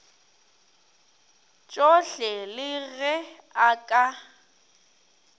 tšohle le ge a ka